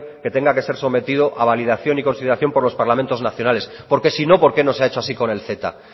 que tenga que ser sometido a validación y consideración por los parlamentos nacionales porque si no por qué no se ha hecho así con el ceta